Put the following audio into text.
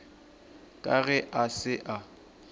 ka ge a se a